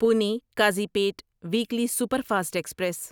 Pune Kazipet weekly superfast express